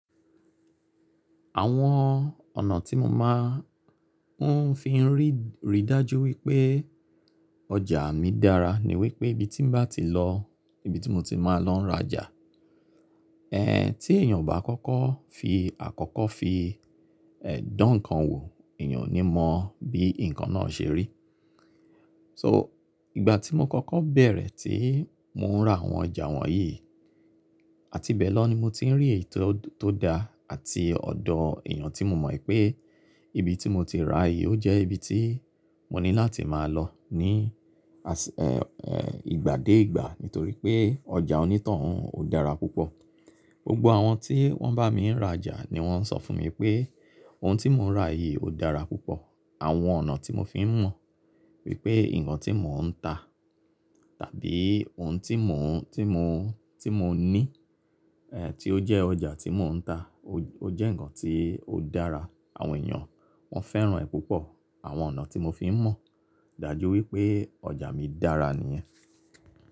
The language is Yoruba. Àwọn ọ̀nà tí mo máa ń fi rí rí dájú wípé ọjà mi dára ní wípé ibi tí m bá ti lọ, ibi tí mo ti máa ń lọ rajà. Ẹ̀hẹ̀ tí èyàn ò bá kọ́kọ́ fi àkọ́kọ́ fi ẹ̀ dán ǹkan wò, èyàn ò ní mọ bí ǹkan náà ṣe rí. So ìgbà tí mo kọ́kọ́ bẹ̀rẹ̀ tí mo ń ra àwọn ọjà wọ̀nyí, àti bẹ̀ lọ ni mo ti ń rí ètò tó da àti ọ̀dọ̀ èyàn tí mo mọ̀ é pé ibi tí mo ti ra yìí ó jẹ́ ibi tí mo ní láti máa lọ ní ìgbà dé ìgbà nítorí pé ọjà ònítàn u ò dára púpọ̀. Gbogbo àwọn tí wọ́n bá mi ń rajà ni wọ́n ń sọ fún mi pé ohun tí mo ń ra yìí ó dára púpọ̀. Àwọn ọ̀nà tí mo fi ń mọ̀ wípé ǹkan tí mo ń ta tàbí ohun tí mo, tí mo, tí mo ní è tí ó jẹ́ ọjà tí mò ń ta o jẹ́ ǹkan tí ó dára. Àwọn èyàn wọ́n fẹ́ràn ẹ́ púpọ̀. Àwọn ọ̀nà tí mo fi ń mọ̀ dájú wípé ọjà mi dára nìyẹn.